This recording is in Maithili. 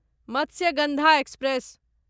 मत्स्यगंधा एक्सप्रेस